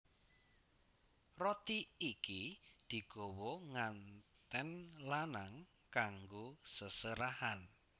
Roti iki digawa ngantèn lanang kanggo seserahan